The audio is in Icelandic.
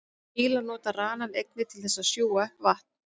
Fílar nota ranann einnig til þess að sjúga upp vatn.